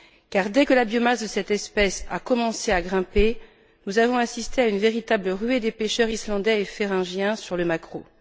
Car, dès que la biomasse de cette espèce a commencé à grimper, nous avons assisté à une véritable ruée des pêcheurs islandais et féroïens sur les maquereaux.